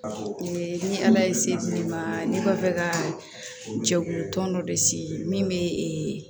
Ni ala ye se di ne ma ne ma fɛ ka jɛkulu tɔn dɔ de sigi min bɛ ee